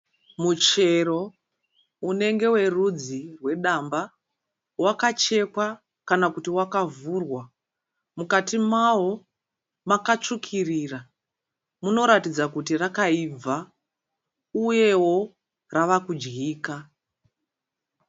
Muchero unenge werudzi wedamba. Wakachekwa kana kuti wakavhurwa. Mukati mawo maka tsvukirira munoratidza kuti rakaibva uyewo rava kudyika.